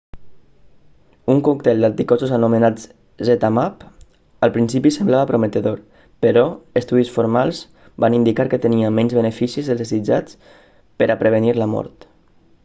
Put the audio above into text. un còctel d'anticossos anomenat zmapp al principi semblava prometedor però estudis formals van indicar que tenia menys beneficis dels desitjats per a prevenir la mort